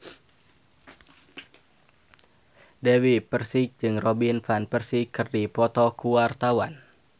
Dewi Persik jeung Robin Van Persie keur dipoto ku wartawan